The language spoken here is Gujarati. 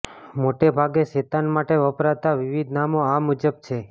મોટેભાગે શેતાન માટે વપરાતાં વિવિધ નામો આ મુજબ છે